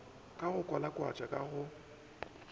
ke go kwalakwatšwa ka go